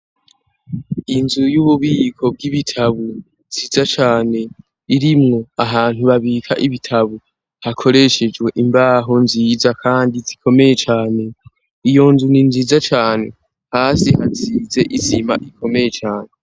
Inzu y'ububiko bw'ibitabu nziza cane, irimwo ahantu babika ibitabu hakoreshejwe imbaho nziza kandi zikomeye cane, iyo nzu ni nziza cane, hasi hasize isima ikomeye cane.